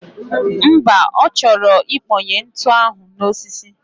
Mba, ochoro ikponye ntu ahu nime osisi